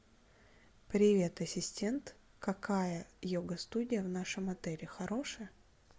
привет ассистент какая йога студия в нашем отеле хорошая